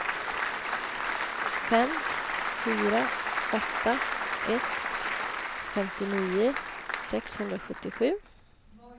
fem fyra åtta ett femtionio sexhundrasjuttiosju